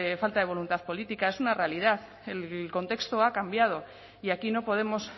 falta de voluntad política es una realidad el contexto ha cambiado y aquí no podemos